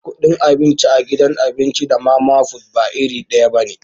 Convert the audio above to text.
Kudin abinci a gidan abinci da mama fut ba iri daya bane.